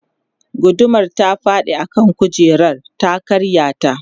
gudumar ta faɗi a kan kujerar ta karya ta